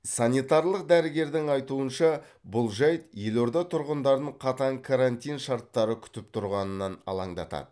санитарлық дәрігердің айтуынша бұл жайт елорда тұрғындарын қатаң карантин шарттары күтіп тұрғанынан алаңдатады